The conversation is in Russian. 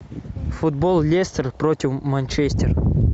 футбол лестер против манчестер